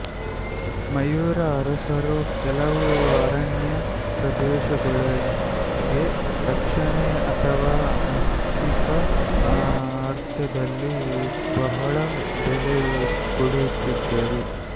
ಮಯೂರ ಅರಸರು ಕೆಲವು ಅರಣ್ಯ ಪ್ರದೇಶಗಳಿಗೆ ರಕ್ಷಣೆ ಅಥವಾ ಆರ್ಥಿಕ ಅರ್ಥದಲ್ಲಿ ಬಹಳ ಬೆಲೆ ಕೊಡುತ್ತಿದ್ದರು